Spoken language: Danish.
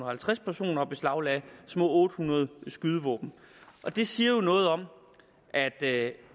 halvtreds personer og beslaglagt små otte hundrede skydevåben det siger jo noget om at det